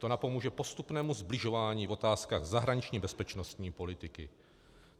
To napomůže postupnému sbližování v otázkách zahraniční bezpečnostní politiky.